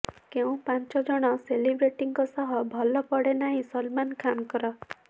କେଉଁ ପାଞ୍ଚଜଣ ସେଲିବ୍ରିଟିଙ୍କ ସହ ଭଲ ପଡ଼େ ନାହିଁ ସଲମାନ୍ ଖାନଙ୍କର